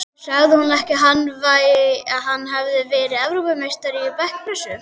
Sagði hún ekki að hann hefði verið Evrópumeistari í bekkpressu?